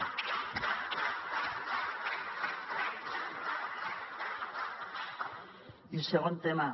i segon tema